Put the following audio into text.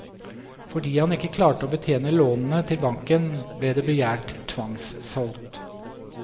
Fordi han ikke klarte å betjene lånene til banken, ble det begjært tvangssolgt.